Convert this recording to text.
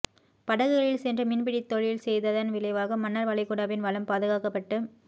படகுகளில் சென்று மீன்பிடித் தொழில் செய்ததன் விளைவாக மன்னார் வளைகுடாவின் வளம் பாதுகாக்கப்பட்டு